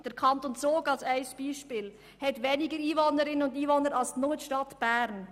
Der Kanton Zug als Beispiel hat weniger Einwohner als die Stadt Bern.